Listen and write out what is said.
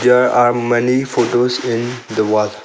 There are many photos in the wall.